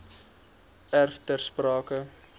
erf ter sprake